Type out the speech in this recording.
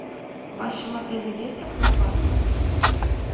в вашем отеле есть аквапарк